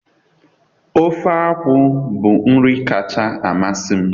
Oge akwu bụ nri kacha amasị m.